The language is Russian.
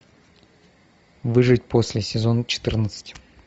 выжить после сезон четырнадцать